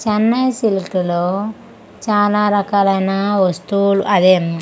Chennai silk లో చాలా రకాలు అయిన వాస్తువులు అదే .